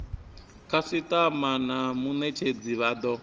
khasitama na munetshedzi vha do